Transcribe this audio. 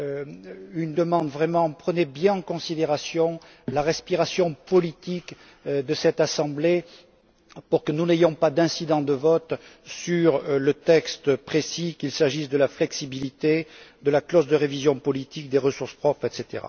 Je vous demande de bien prendre en considération la respiration politique de cette Assemblée pour que n'ayons pas d'incident de vote sur le texte précis, qu'il s'agisse de la flexibilité, de la clause de révision politique des ressources propres, etc.